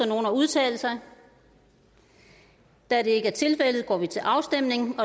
nogen at udtale sig da det ikke er tilfældet går vi til afstemning